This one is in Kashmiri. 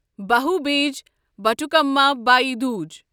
بھوبیج بٹھکُمَا بھیٚے دوج